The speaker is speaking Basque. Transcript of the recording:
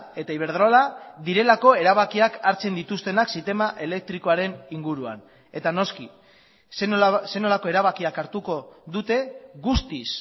eta iberdrola direlako erabakiak hartzen dituztenak sistema elektrikoaren inguruan eta noski zer nolako erabakiak hartuko dute guztiz